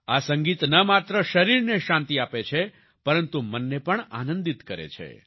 આ સંગીત ન માત્ર શરીરને શાંતિ આપે છે પરંતુ મન ને પણ આનંદિત કરે છે